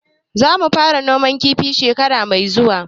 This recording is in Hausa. Zamu fara noman kifi shekara mai zuwa.